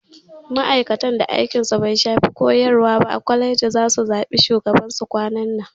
Ma'aikatan da aikin su bai shafi koyarwa ba a kwaleji zasu zaɓi shugaban su kwanan nan